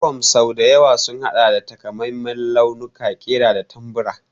Yunifom sau da yawa sun haɗa da takamaiman launuka, ƙira da tambura.